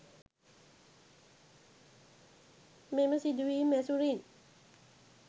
මෙම සිදුවීම් ඇසුරින්